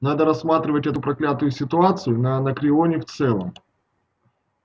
надо рассматривать эту проклятую ситуацию на анакреоне в целом